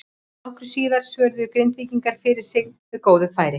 Nokkru síðar svöruðu Grindvíkingar fyrir sig með góðu færi.